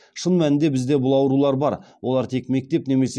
шын мәнінде бізде бұл аурулар бар олар тек мектеп немесе